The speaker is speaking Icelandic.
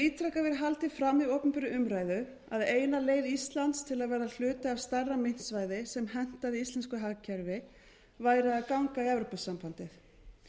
ítrekað verið haldið fram í opinberri umræðu að eina leið íslands til að verða hluti af stærra myntsvæði sem hentaði íslensku hagkerfi væri að ganga í evrópusambandið